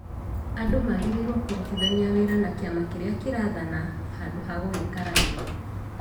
andũ magĩrĩirwo nĩ kũrutithania wĩra na kĩama kĩrĩa kĩrathana handũ ha gũgĩkararia